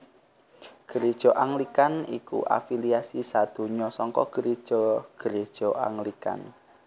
Gréja Anglikan iku afiliasi sadonya saka Gréja gréja Anglikan